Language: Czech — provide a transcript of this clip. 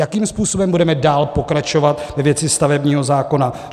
Jakým způsobem budeme dál pokračovat ve věci stavebního zákona?